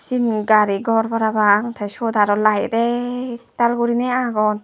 siyen gari gor parapang te suot layet aro ektal gori agon.